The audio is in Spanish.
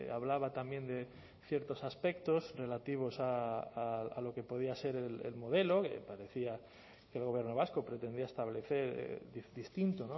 hablaba también de ciertos aspectos relativos a lo que podía ser el modelo que parecía que el gobierno vasco pretendía establecer distinto